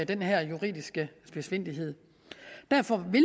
den her juridiske spidsfindighed derfor vil